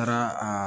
Taara a